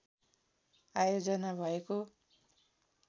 आयोजना भएको